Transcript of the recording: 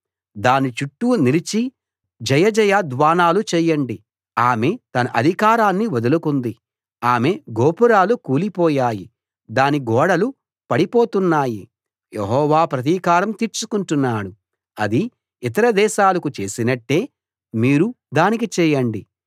దాని చుట్టూ నిలిచి జయజయ ధ్వానాలు చేయండి ఆమె తన అధికారాన్ని వదులుకుంది ఆమె గోపురాలు కూలిపోయాయి దాని గోడలు పడిపోతున్నాయి యెహోవా ప్రతీకారం తీర్చుకుంటున్నాడు అది ఇతర దేశాలకు చేసినట్టే మీరు దానికి చేయండి